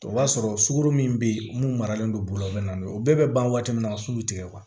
O b'a sɔrɔ sukaro min bɛ yen mun maralen don bɔgɔ bɛ na o bɛɛ bɛ ban waati min na so bɛ tigɛ